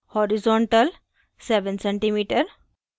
horizontal – 7 cm